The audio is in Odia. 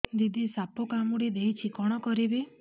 ଦିଦି ସାପ କାମୁଡି ଦେଇଛି କଣ କରିବି